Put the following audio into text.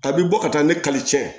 A bi bɔ ka taa ni kalicɛ